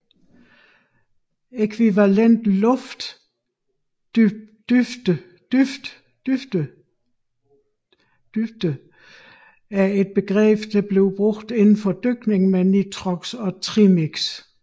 Ækvivalent luft dybde er et begreb der bruges inden for dykning med nitrox og trimix